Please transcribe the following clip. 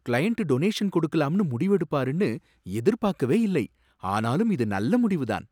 Client donation கொடுக்கலாம்னு முடிவு எடுப்பாருன்னு எதிர்பாக்கவே இல்லை, ஆனாலும் இது நல்ல முடிவுதான்.